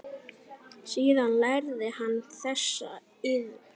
Síðan lærði hann þessa iðn.